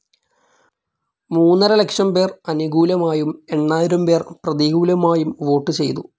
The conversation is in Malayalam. മൂന്നരലക്ഷം പേർ അനുകൂലമായും എണ്ണായിരം പേർ പ്രതികൂലമായും വോട്ട്‌ ചെയ്തു.